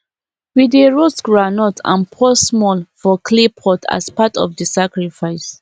we dey roast groundnut and pour small for clay pot as part of the sacrifice